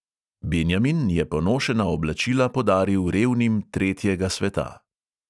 Benjamin je ponošena oblačila podaril revnim tretjega sveta.